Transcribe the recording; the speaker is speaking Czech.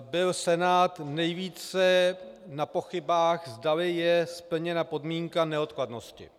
byl Senát nejvíce na pochybách, zdali je splněna podmínka neodkladnosti.